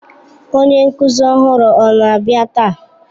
Onye nkuzi ọhụrụ ọ na-abịa taa?